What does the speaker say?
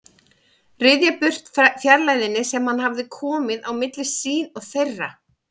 Ryðja burt fjarlægðinni sem hann hafði komið á milli sín og þeirra.